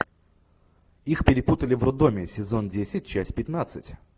их перепутали в роддоме сезон десять часть пятнадцать